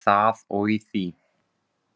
Við það og í því.